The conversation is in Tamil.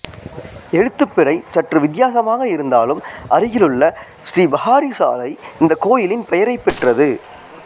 எழுத்துப்பிழை சற்று வித்தியாசமாக இருந்தாலும் அருகிலுள்ள ஸ்ரீ பஹாரி சாலை இந்த கோயிலின் பெயரைப் பெற்றது